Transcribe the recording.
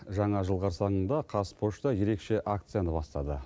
жаңа жыл қарсаңында қазпошта ерекше акцияны бастады